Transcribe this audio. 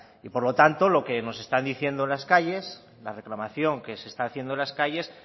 y por lo tanto lo que nos están diciendo las calles la reclamación que se está haciendo en las calles